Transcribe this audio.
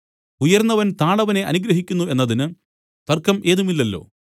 ഉയർന്നവൻ താണവനെ അനുഗ്രഹിക്കുന്നു എന്നതിന് തർക്കം ഏതുമില്ലല്ലോ